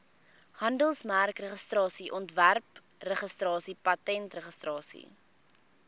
handelsmerkregistrasie ontwerpregistrasie patentregistrasie